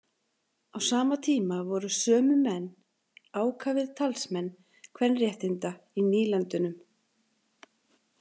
Á sama tíma voru sömu menn ákafir talsmenn kvenréttinda í nýlendunum.